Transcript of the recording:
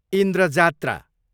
Indra Jatra